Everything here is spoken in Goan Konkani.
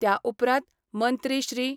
त्या उपरांत मंत्री श्री.